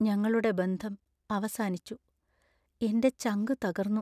ഞങ്ങളുടെ ബന്ധം അവസാനിച്ചു, എന്‍റെ ചങ്കു തകർന്നു .